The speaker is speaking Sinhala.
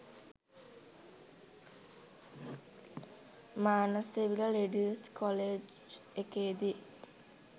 Manasavila ladies college එකේදි